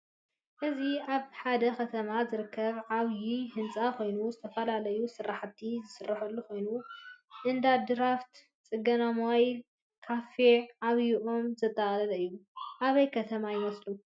እዚ አብ ሐደ ከተማ ዝርከብ ዓብዩ ህንፃ ኮይኑ ዝተፈላለዩ ስርሐቲ ዝስረሐሉ ኮይኑ እንዳድራፍት፣ ፅገና ሞባይል፣ ካፌ፣ ዓብዩ ኦም ዘጠቃለለ እዩ። አበይ ከተማ ይመስለኩም?